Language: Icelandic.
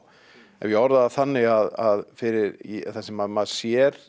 ef ég orða það þannig að fyrir það sem maður sér